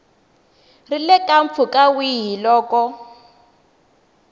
ri eka mpfhuka wihi loko